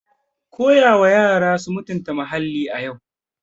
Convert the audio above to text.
Teach children to respect the environment today.